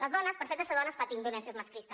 les dones pel fet de ser dones patim violència masclista